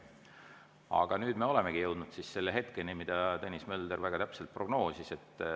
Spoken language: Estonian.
Aga nüüd me olemegi jõudnud selle hetkeni, mida Tõnis Mölder väga täpselt prognoosis.